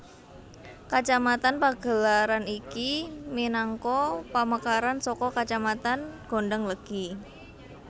Kacamatan Pagelaran iki minangka pamekaran saka Kacamatan Gondanglegi